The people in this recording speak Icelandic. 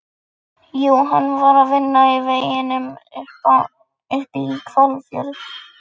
Hins vegar eru verksummerki landlyftingar ávallt augljós.